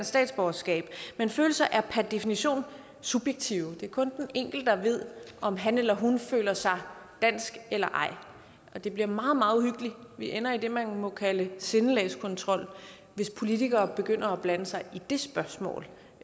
statsborgerskab men følelser er per definition subjektive det er kun den enkelte der ved om han eller hun føler sig dansk eller ej det bliver meget meget uhyggeligt vi ender i det man må kalde sindelagskontrol hvis politikere begynder at blande sig i det spørgsmål